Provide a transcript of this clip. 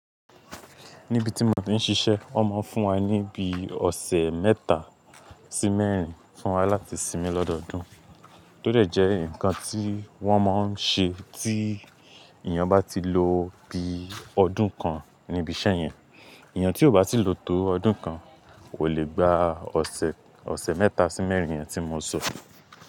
Níbi tí mo ti ń ṣiṣẹ́, wọn máa ń fún wa ní bí ọ̀sẹ̀ mẹ́ta sí mẹ́rin fún wa láti sinmi lọ́dọọdún. Tó dẹ̀ jẹ́ nǹkan tí wón máa ń ṣe tí èèyàn bá ti lo bí ọdún kan níbi iṣẹ́ yẹn. Èèyàn tí ò bá ti lo tó ọdún kan kò lè gba ọ̀sẹ̀, ọ̀sẹ̀ mẹ́ta sí mẹ́rin yẹn tí mo sọ.